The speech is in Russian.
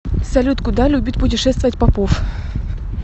салют куда любит путешествовать попов